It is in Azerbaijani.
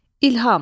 İlham.